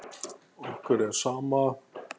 Okkur er sama.